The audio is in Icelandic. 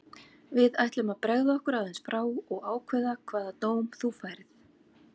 Við ætlum að bregða okkur aðeins frá og ákveða hvaða dóm þú færð.